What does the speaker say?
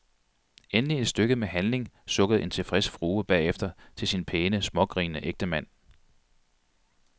Endelig et stykke med handling, sukkede en tilfreds frue bagefter til sin pæne, smågrinende ægtemand.